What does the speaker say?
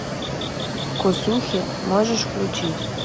косухи можешь включить